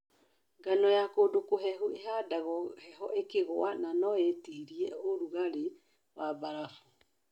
Ngano ya kũndũkũhehu ĩhandagwo heho ĩkĩgwa na no ĩtirie ũrũgarĩ wa mbarabu.